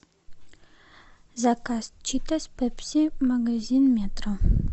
заказ читос пепси магазин метро